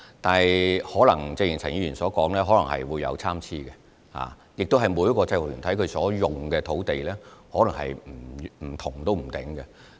但是，正如陳議員所說，大小可能會有參差，而且每個制服團體所需使用的土地可能不同。